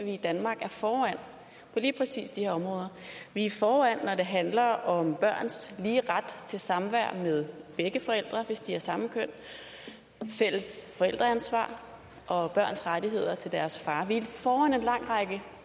i danmark er foran på lige præcis de her områder vi er foran når det handler om børns lige ret til samvær med begge forældre hvis de har samme køn fælles forældreansvar og børns rettigheder til deres far vi er foran en lang række